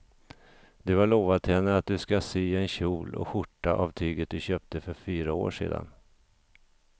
Du har lovat henne att du ska sy en kjol och skjorta av tyget du köpte för fyra år sedan.